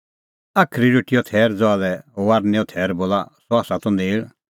साज़ी रोटीओ थैर ज़हा लै फसहेओ थैर बोला सह त नेल़